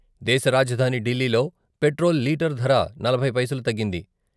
దేశ రాజధాని ఢిల్లీలో పెట్రోల్ లీటర్ ధర నలభై పైసలు తగ్గింది.